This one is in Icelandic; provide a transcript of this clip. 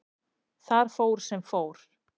Þar fór sem fór.